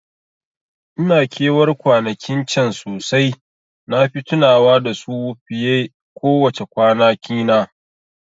Ina ke war kwanakin can sosai, nafi tunawa da su fiye ko wace kwana kina